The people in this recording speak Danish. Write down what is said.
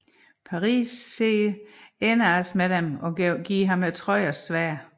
Paris ser Æneas med dem og giver ham Trojas sværd